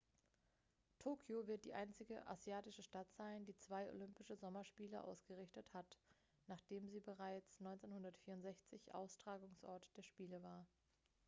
tokio wird die einzige asiatische stadt sein die zwei olympische sommerspiele ausgerichtet hat nachdem sie bereits 1964 austragungsort der spiele war